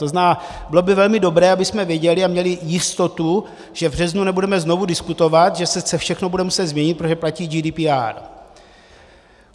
To znamená, bylo by velmi dobré, abychom věděli a měli jistotu, že v březnu nebudeme znovu diskutovat, že se všechno bude muset změnit, protože platí GDPR.